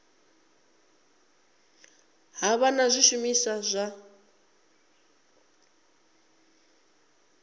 ha vha na zwishumiswa zwa